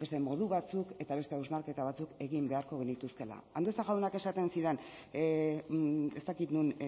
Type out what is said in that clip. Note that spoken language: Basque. beste modu batzuk eta beste hausnarketa batzuk egin beharko genituzkeela andueza jaunak esaten zidan ez dakit non